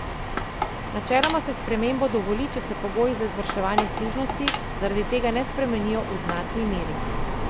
Načeloma se spremembo dovoli, če se pogoji za izvrševanje služnosti zaradi tega ne spremenijo v znatni meri.